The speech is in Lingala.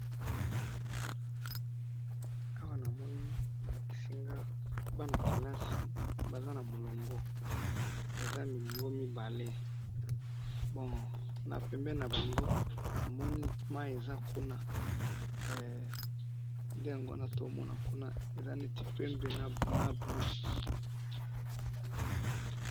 Awa namoni balakisi nga, bana ya kelasi, baza na mulongo, eza milongo mibale, bon! Na pembeni nabango, namoni mayi eza kuna, eh! Nde yango too mona kuna eza neti pembe na bleu.